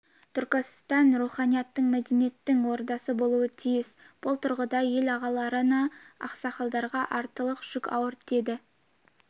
түркістан руханияттың мәдениеттің ордасы болуы тиіс бұл тұрғыда ел ағаларына ақсақалдарға артылар жүк ауыр деді